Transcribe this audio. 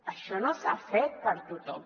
això no s’ha fet per a tothom